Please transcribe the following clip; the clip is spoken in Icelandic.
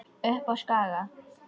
Upp á Skaga?